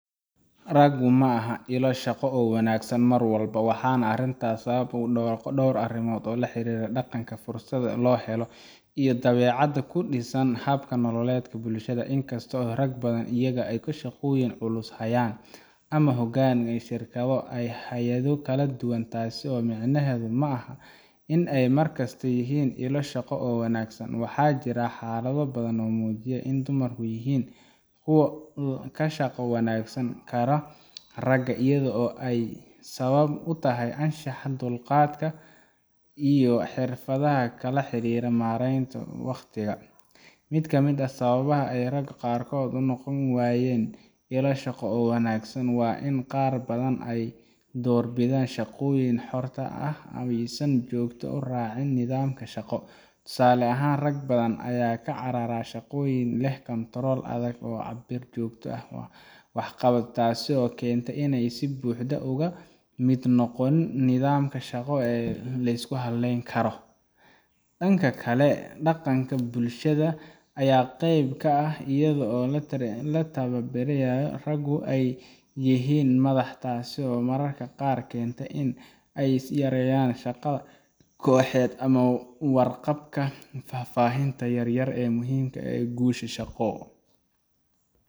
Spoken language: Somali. Raggu ma aha ilo shaqo oo wanaagsan mar walba, waxaana arrintaas sabab u ah dhowr qodob oo la xiriira dhaqanka, fursadaha loo helo, iyo dabeecadaha ku dhisan hab-nololeedka bulshada. Inkastoo rag badan la arko iyaga oo shaqooyin culus haya ama hoggaan ka ah shirkado iyo hay’ado kala duwan, taasi micnaheedu ma aha in ay mar kasta yihiin ilo shaqo oo wanaagsan. Waxaa jira xaalado badan oo muujinaya in dumarku yihiin kuwo ka shaqo wanaagsanaan kara ragga, iyadoo ay sabab u tahay anshaxa, dulqaadka iyo xirfadaha la xiriira maareynta wakhtiga. Mid ka mid ah sababaha ay ragga qaarkood u noqon waayaan ilo shaqo oo wanaagsan waa in qaar badan ay doorbidaan shaqooyinka xorta ah ama aysan si joogto ah u raacin nidaamka shaqo. Tusaale ahaan, rag badan ayaa ka carara shaqooyinka leh kantarool adag ama cabbir joogto ah oo waxqabadka ah, taasoo keenta in aanay si buuxda uga mid noqon nidaamka shaqo ee la isku halleyn karo. Dhanka kale, dhaqanka bulshada ayaa qayb ka ah, iyadoo lagu tarbiyadeeyo ragga in ay yihiin madax, taasoo mararka qaar keenta in ay yareeyaan shaqada kooxeed ama ka warqabka faahfaahinta yar yar ee muhiimka u ah guusha shaqo.